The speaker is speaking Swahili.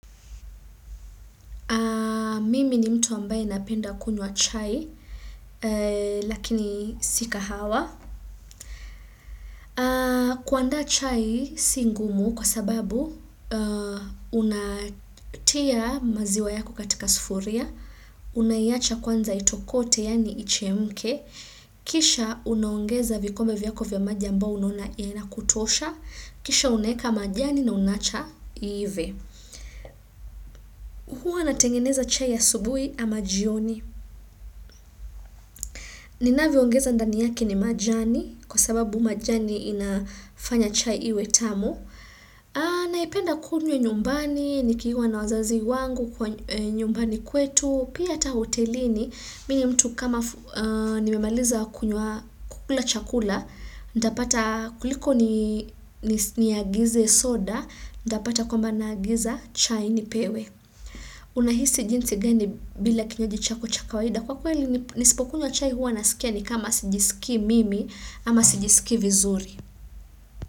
Mimi ni mtu ambaye napenda kunywa chai, lakini sika hawa. Kuandaa chai si ngumu kwa sababu unatia maziwa yako katika sufuria, unaiacha kwanza itokote yani ichemke, kisha unaongeza vikombe vyako vya maji ambayo unaona inakutosha, kisha unaeka majani na unaacha iive. Huwa natengeneza chai ya asubui ama jioni. Nina viongeza ndaniyake ni majani, kwa sababu majani inafanya chai iwe tamu. Naipenda kunywa nyumbani, nikiwa na wazazi wangu kwa nyumbani kwetu, pia hata hotelini. Minye mtu kama nimemaliza kukula chakula, ndapata kuliko niagize soda, ndapata kwamba nagiza chai nipewe. Unahisi jinsi gani bila kinywaji chakocha kawaida Kwa kweli nispokunywa chai huwa nasikia ni kama sijisikii mimi ama sijisikii vizuri.